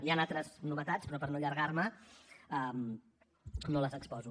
hi han altres novetats però per no allargar me no les exposo